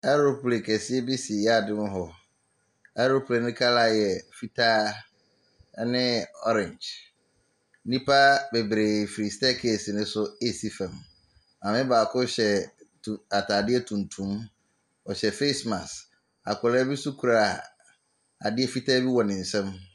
Aeroplane kɛseɛ bi si yaade mu hɔ. Aeroplane no colour yɛ fitaa ne orange. Nnipa bebree firi staircase no so resi fam. Maame baako hyɛ tun atadeɛ tuntum. Ɔhyɛ face mask. Akwadaa bi nso kura adeɛ fitaa bi wɔ ne nsam.